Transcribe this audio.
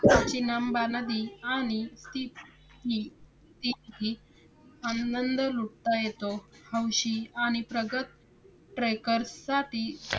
चंबा नदी आणि तिपी कितीही आनंद लुटता येतो. हौशी आणि प्रगत trekkers साठी